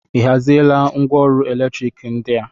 Ị haziela ngwaọrụ eletriki ndị a?